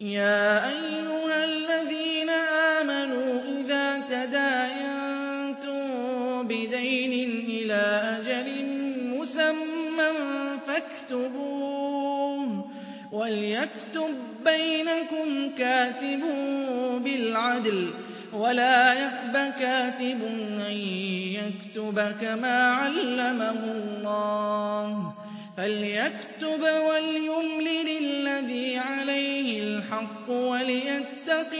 يَا أَيُّهَا الَّذِينَ آمَنُوا إِذَا تَدَايَنتُم بِدَيْنٍ إِلَىٰ أَجَلٍ مُّسَمًّى فَاكْتُبُوهُ ۚ وَلْيَكْتُب بَّيْنَكُمْ كَاتِبٌ بِالْعَدْلِ ۚ وَلَا يَأْبَ كَاتِبٌ أَن يَكْتُبَ كَمَا عَلَّمَهُ اللَّهُ ۚ فَلْيَكْتُبْ وَلْيُمْلِلِ الَّذِي عَلَيْهِ الْحَقُّ وَلْيَتَّقِ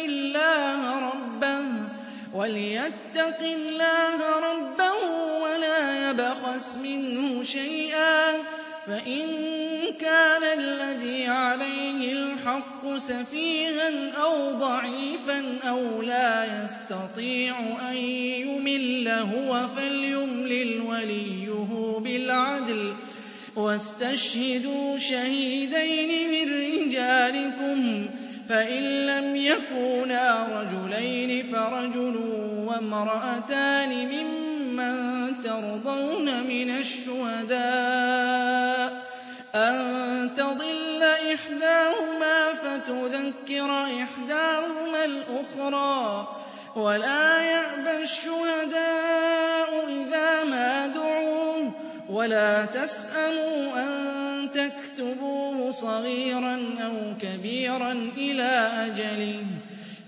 اللَّهَ رَبَّهُ وَلَا يَبْخَسْ مِنْهُ شَيْئًا ۚ فَإِن كَانَ الَّذِي عَلَيْهِ الْحَقُّ سَفِيهًا أَوْ ضَعِيفًا أَوْ لَا يَسْتَطِيعُ أَن يُمِلَّ هُوَ فَلْيُمْلِلْ وَلِيُّهُ بِالْعَدْلِ ۚ وَاسْتَشْهِدُوا شَهِيدَيْنِ مِن رِّجَالِكُمْ ۖ فَإِن لَّمْ يَكُونَا رَجُلَيْنِ فَرَجُلٌ وَامْرَأَتَانِ مِمَّن تَرْضَوْنَ مِنَ الشُّهَدَاءِ أَن تَضِلَّ إِحْدَاهُمَا فَتُذَكِّرَ إِحْدَاهُمَا الْأُخْرَىٰ ۚ وَلَا يَأْبَ الشُّهَدَاءُ إِذَا مَا دُعُوا ۚ وَلَا تَسْأَمُوا أَن تَكْتُبُوهُ صَغِيرًا أَوْ كَبِيرًا إِلَىٰ أَجَلِهِ ۚ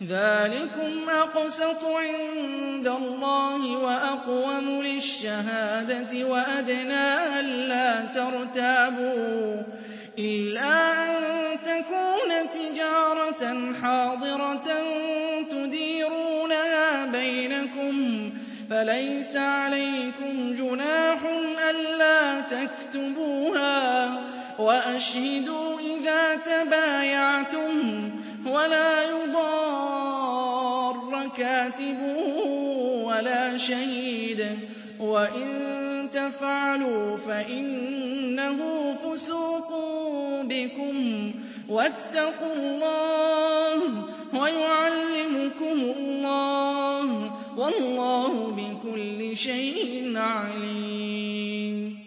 ذَٰلِكُمْ أَقْسَطُ عِندَ اللَّهِ وَأَقْوَمُ لِلشَّهَادَةِ وَأَدْنَىٰ أَلَّا تَرْتَابُوا ۖ إِلَّا أَن تَكُونَ تِجَارَةً حَاضِرَةً تُدِيرُونَهَا بَيْنَكُمْ فَلَيْسَ عَلَيْكُمْ جُنَاحٌ أَلَّا تَكْتُبُوهَا ۗ وَأَشْهِدُوا إِذَا تَبَايَعْتُمْ ۚ وَلَا يُضَارَّ كَاتِبٌ وَلَا شَهِيدٌ ۚ وَإِن تَفْعَلُوا فَإِنَّهُ فُسُوقٌ بِكُمْ ۗ وَاتَّقُوا اللَّهَ ۖ وَيُعَلِّمُكُمُ اللَّهُ ۗ وَاللَّهُ بِكُلِّ شَيْءٍ عَلِيمٌ